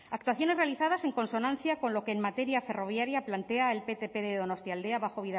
actuaciones realizadas en consonancia con lo que en materia ferroviaria plantea el ptp de donostialdea bajo